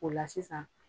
O la sisan